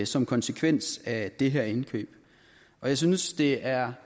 som konsekvens af det her indkøb jeg synes det er